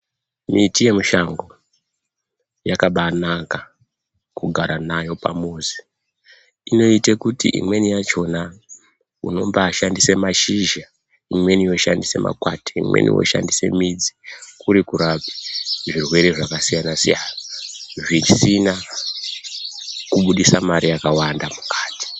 Miti yemushango yakabaanaka kugara nayo pamuzi inoite kuti imweni yachona , unombaashandisa mashizha imweni yoshandise makwati , imweni yoshandise midzi kuri kurape zvirwere zvakasiyana siyana zvisina kuburitsa mari yakwanda mukati .